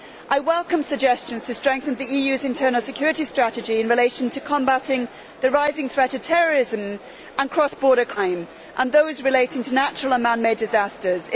I welcome suggestions to strengthen the EU's internal security strategy in relation to combating the rising threats of terrorism and cross border crime and those relating to natural and man made disasters.